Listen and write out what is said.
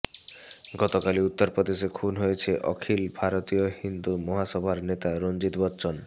গতকালই উত্তরপ্রদেশে খুন হয়েছেন অখিল ভারতীয় হিন্দু মহাসভার নেতা রণজিৎ বচ্চন